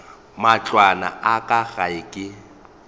matlwana a ka gae ke